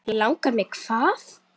Langar mig hvað?